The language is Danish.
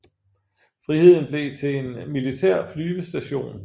Friheden blev til en militær flyvestation